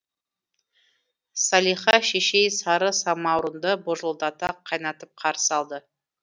салиха шешей сары самаурынды божылдата қайнатып қарсы алды